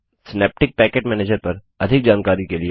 synaptic package manager पर अधिक जानकारी के लिए